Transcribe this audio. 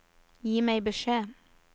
Gi meg beskjed